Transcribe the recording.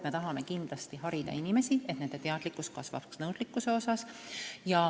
Me tahame kindlasti harida inimesi, et nende teadlikkus kasvaks.